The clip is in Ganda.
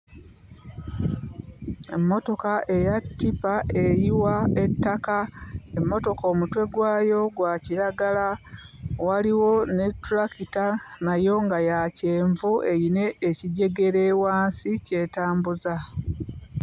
Emmotoka eya ttipa eyiwa ettaka emmotoka omutwe gwayo gwa kiragala waliwo ne ttulakita nayo nga ya kyenvu eyina ekijegere wansi ky'etambuza.